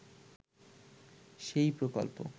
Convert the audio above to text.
সেই প্রকল্প